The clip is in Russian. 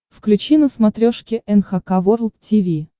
включи на смотрешке эн эйч кей волд ти ви